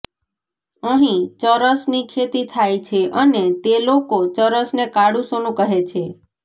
અહીં ચરસની ખેતી થાય છે અને તે લોકો ચરસને કાળું સોનું કહે છે